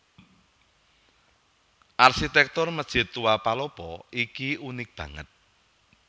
Arsitèktur Masjid Tua Palopo iki unik banget